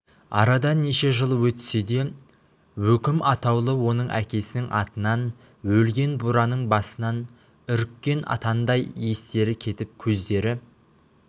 арада неше жыл өтсе де өкім атаулы оның әкесінің атынан өлген бураның басынан үріккен атандай естері кетіп көздері